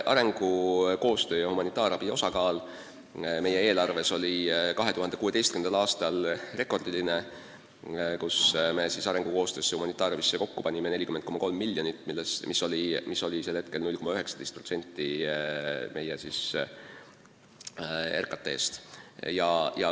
Arengukoostöö ja humanitaarabi osakaal meie eelarves oli 2016. aastal rekordiline: me eraldasime selleks kokku 40,3 miljonit, mis oli 0,19% meie RKT-st.